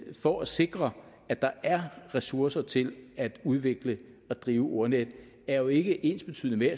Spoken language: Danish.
for at sikre at der er ressourcer til at udvikle og drive ordnetdk er jo ikke ensbetydende